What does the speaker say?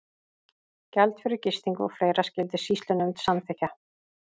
Gjald fyrir gistingu og fleira skyldi sýslunefnd samþykkja.